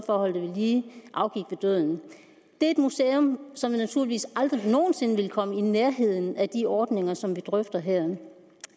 for at holde det ved lige afgik ved døden det er et museum som naturligvis aldrig nogen sinde vil komme i nærheden af de ordninger som vi drøfter her